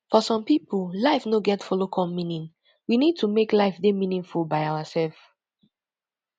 for some pipo life no get follow come meaning we need to make life dey meaningful by ourself